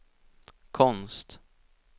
konst